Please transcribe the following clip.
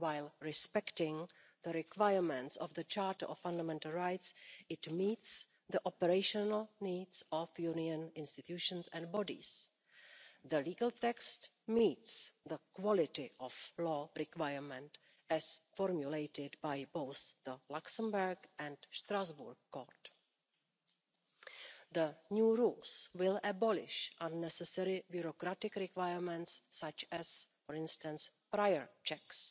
While respecting the requirements of the Charter of Fundamental Rights, it meets the operational needs of Union institutions and bodies. The legal text meets the quality of law requirement as formulated by both the Luxembourg and Strasbourg courts. The new rules will abolish unnecessary bureaucratic requirements such as, for instance, prior checks.